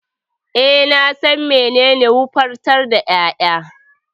E, na san menene wofantar da ƴaƴa.